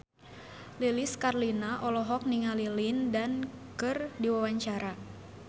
Lilis Karlina olohok ningali Lin Dan keur diwawancara